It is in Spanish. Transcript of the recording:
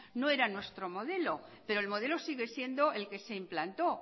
no era nuestro modelo pero el modelo sigue siendo el que se implantó